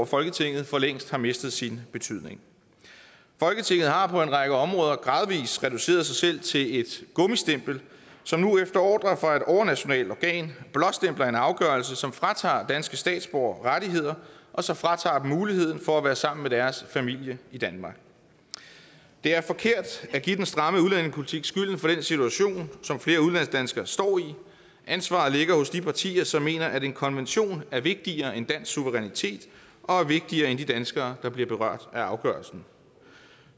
folketinget for længst har mistet sin betydning folketinget har på en række områder gradvis reduceret sig selv til et gummistempel som nu efter ordre fra et overnationalt organ blåstempler en afgørelse som fratager danske statsborgere rettigheder og som fratager dem muligheden for at være sammen med deres familie i danmark det er forkert at give den stramme udlændingepolitik skylden for den situation som flere udlandsdanskere står i ansvaret ligger hos de partier som mener at en konvention er vigtigere end dansk suverænitet og vigtigere end de danskere der bliver berørt af afgørelsen